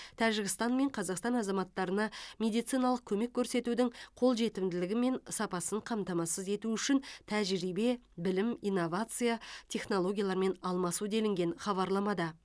тәжікстан мен қазақстан азаматтарына медициналық көмек көрсетудің қолжетімділігі мен сапасын қамтамасыз ету үшін тәжірибе білім инновация технологиялармен алмасу делінген хабарламада